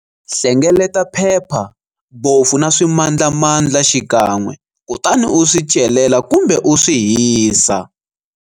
Hlengeleta phepha, bofu na swimandlamandla xikan'we kutani u swi celela kumbe u swi hisa.